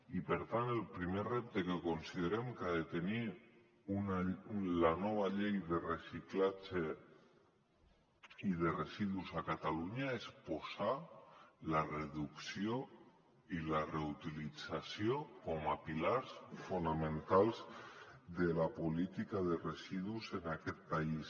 i per tant el primer repte que considerem que ha de tenir la nova llei de reciclatge i de residus a catalunya és posar la reducció i la reutilització com a pilars fonamentals de la política de residus en aquest país